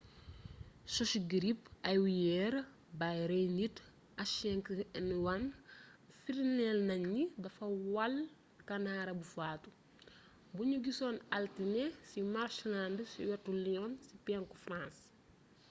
sushu girip awiyeer buy rey nit h5n1 firndéel nañ ni dafa wàll kanaara bu faatu buñu gisoon altine ci marshland ci wetu lyon ci penku farans